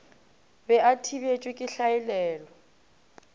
be a thibetšwe ke hlaelelo